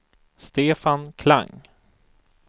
Stefan Klang